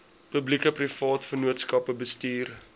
publiekeprivate vennootskappe bestuur